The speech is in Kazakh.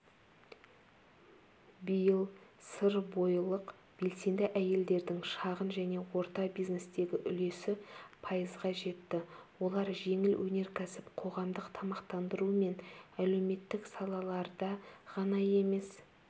биыл сырбойылық белсенді әйелдердің шағын және орта бизнестегі үлесі пайызға жетті олар жеңіл өнеркәсіп қоғамдық тамақтандыру мен әлеуметтік салаларда ғана емес